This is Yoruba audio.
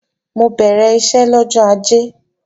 Mo bẹ̀rẹ̀ iṣẹ́ lọ́jọ́ Ajé